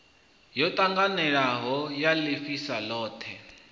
yo ṱanganelanaho ya ḽifhasi ḽothe